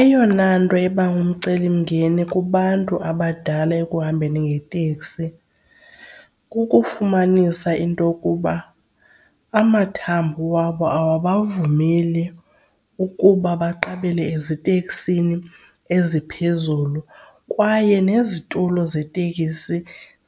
Eyona nto eba ngumcelimngeni kubantu abadala ekuhambeni ngeteksi kukufumanisa into yokuba amathambo wabo awubavumeli ukuba baqabela eziteksini eziphezulu kwaye nezitulo zetekisi